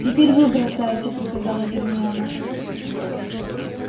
теперь вы бросайте приказала гермиона